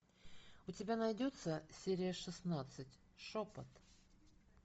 у тебя найдется серия шестнадцать шепот